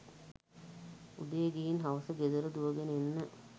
උදේ ගිහින් හවස ගෙදර දුවගෙන එන්න